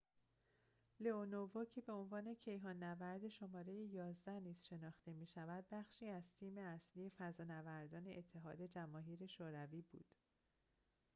لئونوو که به عنوان کیهان نورد شماره ۱۱ نیز شناخته می شود بخشی از تیم اصلی فضانوردان اتحاد جماهیر شوروی بود